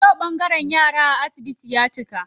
Yau ɓangaren yara a asibiti ya cika.